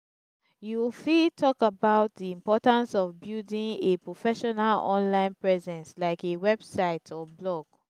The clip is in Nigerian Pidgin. you bfit talk about di importance of building a professional online presence like a website or blog.